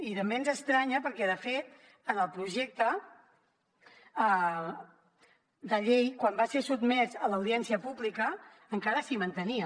i també ens estranya perquè de fet en el projecte de llei quan va ser sotmès a l’audiència pública encara s’hi mantenia